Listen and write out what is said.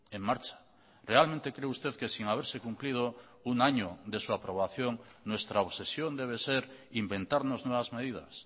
en marcha realmente cree usted que sin haberse cumplido un año de su aprobación nuestra obsesión debe ser inventarnos nuevas medidas